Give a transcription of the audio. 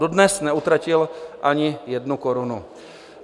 Dodnes neutratil ani jednu korunu.